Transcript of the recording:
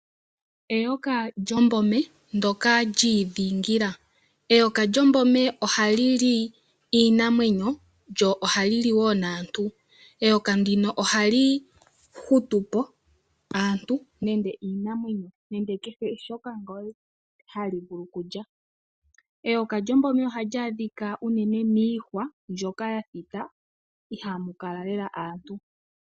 Eyoka lyombome ndyoka liidhingila Eyoka lyombome ohali li iinamwenyo lyo ohali li woo naantu. Eyoka ndino ohali hutupo aantu nenge iinamwenyo nenge kehe shoka hali vulu okulya. Eyoka lyombome ohali adhika unene miihwa mbyoka ya thita ihamu kala lela aantu.